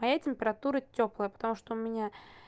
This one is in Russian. моя температура тёплая потому что у меня